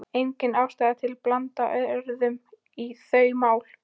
Engin ástæða til að blanda öðrum í þau mál.